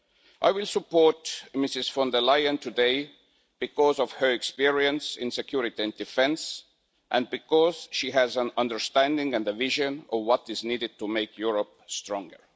I will support Ms von der Leyen today because of her experience in security and defence and because she has an understanding and a vision of what is needed to make Europe stronger.